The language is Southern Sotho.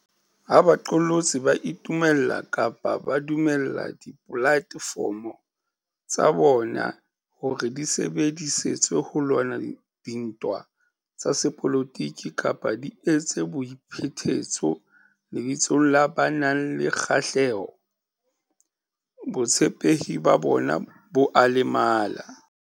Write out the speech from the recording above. Ha baqolotsi ba itumella kapa ba dumella dipolate fomo tsa bona hore di sebedi setswe ho lwana dintwa tsa sepolotiki kapa di etse boi phetetso lebitsong la ba nang le kgahleho, botshepehi ba bona bo a lemala.